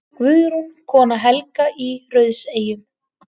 Guðrún, kona Helga í Rauðseyjum.